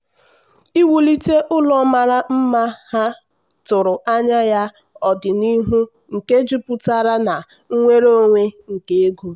iwulite ụlọ mara mma ha tụrụ anya ọdịnihu nke jupụtara na nnwere onwe nke ego.